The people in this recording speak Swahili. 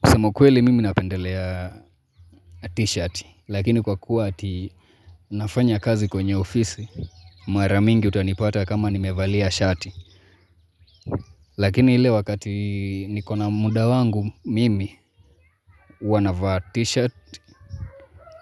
Kusema ukweli mimi napendelea t-shirt, lakini kwa kuwa ati nafanya kazi kwenye ofisi, mara mingi utanipata kama nimevalia shati. Lakini ile wakati niko na muda wangu mimi, huwa navaa t-shirt